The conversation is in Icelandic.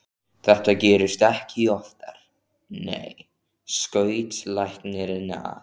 Þetta gerist ekki oftar, nei, skaut læknirinn að.